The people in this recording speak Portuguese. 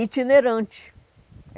Itinerante.